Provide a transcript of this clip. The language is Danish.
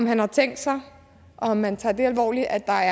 han har tænkt sig og om han tager det alvorligt at der